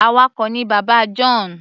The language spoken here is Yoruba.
Awakọ̀ ni bàbá John.